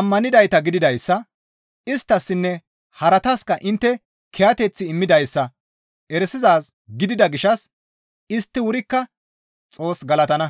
ammanettidayta gididayssa, isttassinne harataska intte kiyateth immidayssa erisizaaz gidida gishshas istti wurikka Xoos galatana.